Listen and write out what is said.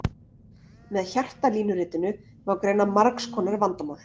Með hjartalínuritinu má greina margs konar vandamál.